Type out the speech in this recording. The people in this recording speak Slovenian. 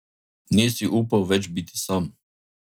Ni si upal več biti sam.